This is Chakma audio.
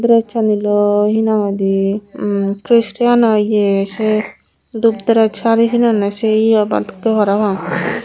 dress aniloi hinanghoide eem cristian o ye say dup dress sari pinonne say ye obak dokke parapang.